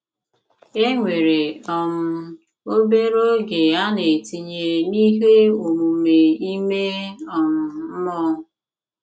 E nwere um obere oge a na-etinye n'ihe omume ime um mmụọ.